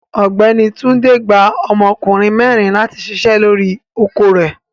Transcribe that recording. Ọgbẹni Túndé gbà ọmọkùnrin mẹrin láti ṣíṣẹ̀ lọ́ri oko rẹ̀.